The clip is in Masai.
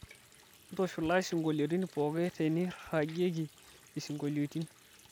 ntishula isingolioitin pooki teneiragieki isingolioitin